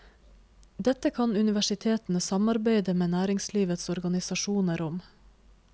Dette kan universitetene samarbeide med næringslivets organisasjoner om.